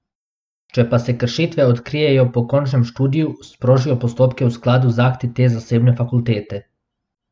Če pa se kršitve odkrijejo po končanem študiju, sprožijo postopke v skladu z akti te zasebne fakultete.